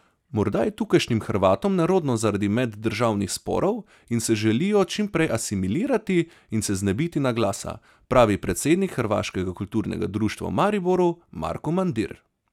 Morda je tukajšnjim Hrvatom nerodno zaradi meddržavnih sporov in se želijo čim prej asimilirati in se znebiti naglasa, pravi predsednik Hrvatskega kulturnega društva v Mariboru Marko Mandir.